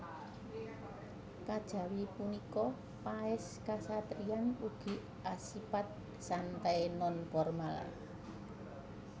Kajawi punika paès kasatriyan ugi asipat santai non formal